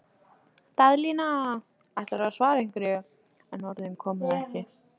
Daðína ætlaði að svara einhverju, en orðin komu ekki.